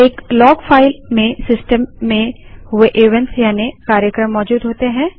एक log file में system में हुए इवेंट्स यानि कार्यक्रम मौजूद होते हैं